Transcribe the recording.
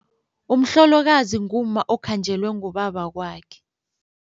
Umhlolokazi ngumma okhanjelwe ngubabakwakhe.